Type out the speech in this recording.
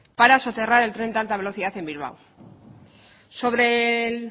para soterrar el tren de alta velocidad en bilbao sobre el